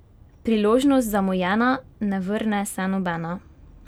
Priložnost zamujena, ne vrne se nobena?